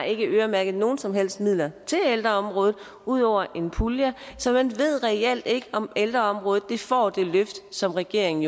ikke har øremærket nogen som helst midler til ældreområdet ud over en pulje så man ved reelt ikke om ældreområdet får det løft som regeringen